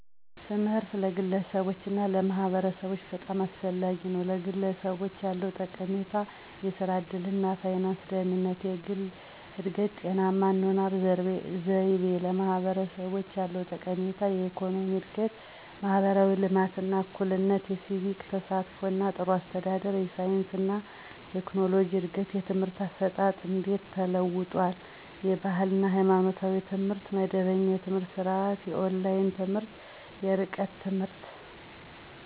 ትምህርት ለግለሰቦች እና ለማህበረሰቦች በጣም አስፈላጊ ነው፤ #ለግለሰቦች ያለው ጠቀሜታ -* የሥራ ዕድል እና የፋይናንስ ደህንነት: * የግል እድገት: * ጤናማ የአኗኗር ዘይቤ: #ለማህበረሰቦች ያለው ጠቀሜታ -* የኢኮኖሚ እድገት: * ማህበራዊ ልማት እና እኩልነት: * የሲቪክ ተሳትፎ እና ጥሩ አስተዳደር: * የሳይንስ እና ቴክኖሎጂ እድገት: #የትምህርት አሰጣጥ እንዴት ተለውጧል? * የባህል እና ሃይማኖታዊ ትምህርት * መደበኛ የትምህርት ስርዓት * የኦንላይን ትምህርት *የርቀት ትምህርት.....